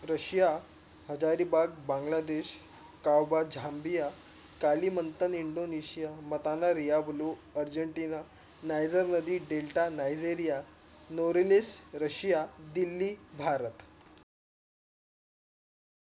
rasiya hazaribagh Bangladesh काऊभ zambia काली मंथन Indonesia मताने riya blue argentina नायरल नदी delta nareliya novelist Russia Delhi Bharat